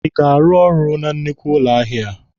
Ị ga-arụ na nnukwu ụlọ ahịa a?